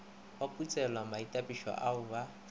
ba putselwa maitapišo ao ba